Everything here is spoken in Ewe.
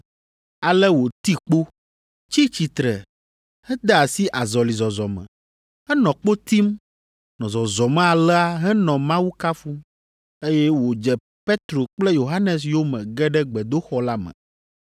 Ale wòti kpo, tsi tsitre hede asi azɔlizɔzɔ me. Enɔ kpo tim, nɔ zɔzɔm alea henɔ Mawu kafum, eye wòdze Petro kple Yohanes yome ge ɖe gbedoxɔ la me.